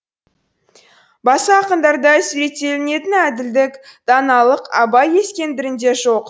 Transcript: басқа ақындарда суреттелінетін әділдік даналық абай ескендірінде жоқ